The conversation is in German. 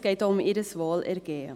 es geht auch um ihr Wohlergehen.